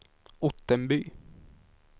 Ottenby